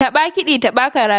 Taɓa kiɗi taɓa karatu